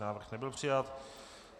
Návrh nebyl přijat.